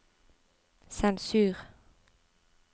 sensur